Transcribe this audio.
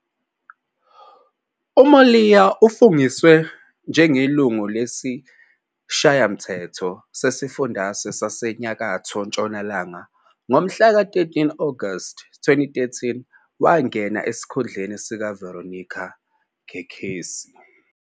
UMoiloa ufungiswe njengelungu lesiShayamthetho sesiFundazwe saseNyakatho Ntshonalanga ngomhlaka 13 Agasti 2013, wangena esikhundleni sikaVeronica Kekesi.